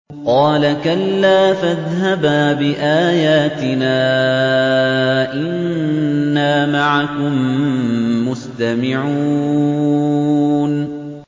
قَالَ كَلَّا ۖ فَاذْهَبَا بِآيَاتِنَا ۖ إِنَّا مَعَكُم مُّسْتَمِعُونَ